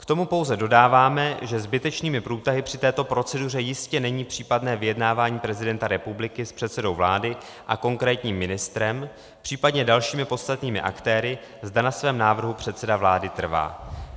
K tomu pouze dodáváme, že zbytečnými průtahy při této proceduře jistě není případné vyjednávání prezidenta republiky s předsedou vlády a konkrétním ministrem, případně dalšími podstatnými aktéry, zda na svém návrhu předseda vlády trvá.